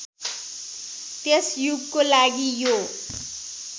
त्यस युगको लागि यो